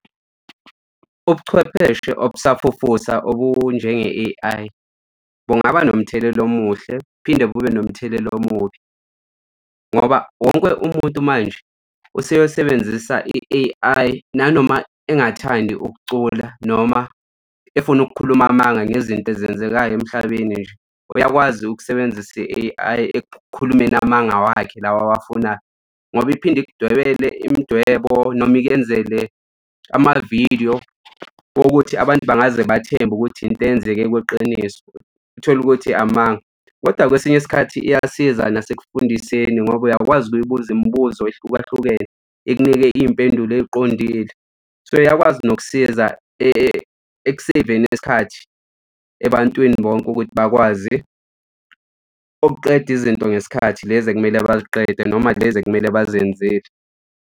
Ubuchwepheshe obusafufusa obunjenge-A_I bungaba nomthelela omuhle kuphinde kube nomthelela omubi ngoba wonke umuntu manje useyosebenzisa i-A_I nanoma engathandi ukucula, noma efuna ukukhuluma amanga ngezinto ezenzekayo emhlabeni nje. Uyakwazi ukusebenzisa i-A_I ekukhulumeni amanga wakhe lawa awafunayo ngoba iphinde ikudwebele imidwebo noma ikwenzele amavidiyo wokuthi abantu bangaze bathembe ukuthi into eyenzeke kweqiniso uthole ukuthi amanga. Kodwa kwesinye isikhathi iyasiza nasekufundiseni ngoba uyakwazi ukubuza imibuzo ehlukahlukene ikunike iy'mpendulo ay'qondile. So iyakwazi nokusiza ekuseveni isikhathi ebantwini bonke ukuthi bakwazi ukuqeda izinto ngesikhathi lezi ekumele baziqede noma lezi ekumele bazenzile.